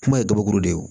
Kuma ye gabakuru de ye